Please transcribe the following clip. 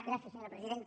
gràcies senyora presidenta